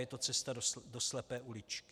Je to cesta do slepé uličky.